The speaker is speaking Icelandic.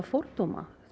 fordómar